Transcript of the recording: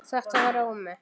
Þetta var Ómi.